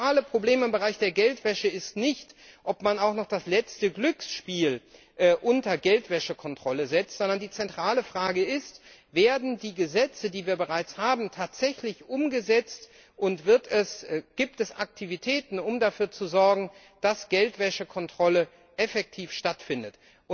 Das zentrale Problem im Bereich der Geldwäsche ist nicht, ob man auch noch das letzte Glücksspiel unter die Geldwäschekontrolle setzt, sondern die zentrale Frage ist Werden die Gesetze, die wir bereits haben, tatsächlich umgesetzt und gibt es Aktivitäten, um dafür zu sorgen, dass Geldwäschekontrolle effektiv stattfindet?